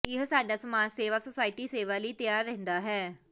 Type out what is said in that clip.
ਇਹ ਸਾਡਾ ਸਮਾਜ ਸੇਵਾ ਸੋਸਾਇਟੀ ਸੇਵਾ ਲਈ ਤਿਆਰ ਰਹਿੰਦਾ ਹੈ